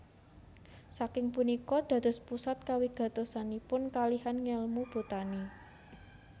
Saking punika dados pusat kawigatosanipun kalihan ngèlmu botani